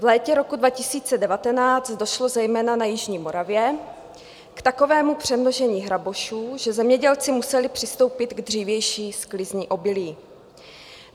V létě roku 2019 došlo zejména na jižní Moravě k takovému přemnožení hrabošů, že zemědělci museli přistoupit k dřívější sklizni obilí.